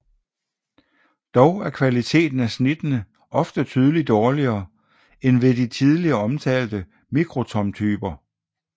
Dog er kvaliteten af snittene ofte tydeligt dårligere end ved de tidligere omtalte mikrotomtyper